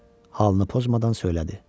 Halını pozmadan söylədi.